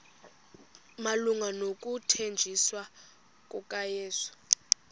malunga nokuthanjiswa kukayesu